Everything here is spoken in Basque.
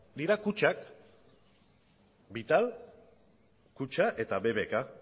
dira kutxak vital kutxa eta bbk